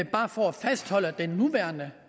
bare for at fastholde den nuværende